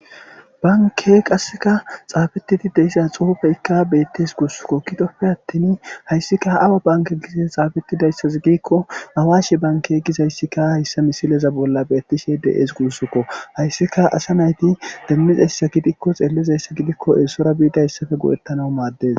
Banke qasseka xaabetidi deyssha xuufeykka beettes guussukko kitoppe attin hayssika awa banke gizes xaabetidayssazi giikko awashe banke gizayssikka hayssa misileza bolla beettishe de7ees guussukko hayssika asa nayti demmizayssa gidikko xeellizayssa gidikko eesora biida yssafe go7ettanaw maaddes.